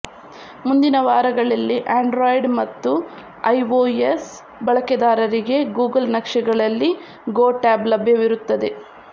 ಮುಂದಿನ ವಾರಗಳಲ್ಲಿ ಆಂಡ್ರಾಯ್ಡ್ ಮತ್ತು ಐಒಎಸ್ ಬಳಕೆದಾರರಿಗೆ ಗೂಗಲ್ ನಕ್ಷೆಗಳಲ್ಲಿ ಗೋ ಟ್ಯಾಬ್ ಲಭ್ಯವಿರುತ್ತದೆ